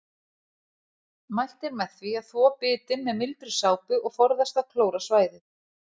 Mælt er með því að þvo bitin með mildri sápu og forðast að klóra svæðið.